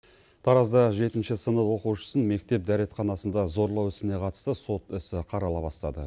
таразда жетінші сынып оқушысын мектеп дәретханасында зорлау ісіне қатысты сот ісі қарала бастады